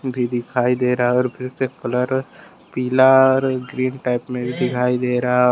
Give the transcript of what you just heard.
भी दिखाई दे रहा और फ्रिज का कलर पीला और ग्रीन टाइप में भी दिखाई दे रहा--